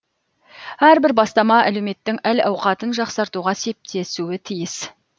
әрбір бастама әлеуметтің әл ауқатын жақсартуға септесуі тиіс